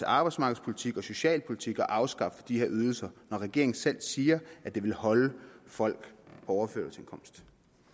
arbejdsmarkedspolitikken og socialpolitikken at afskaffe de her ydelser når regeringen selv siger at det vil holde folk på overførselsindkomst